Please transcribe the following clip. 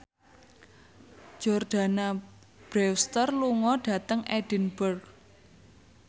Jordana Brewster lunga dhateng Edinburgh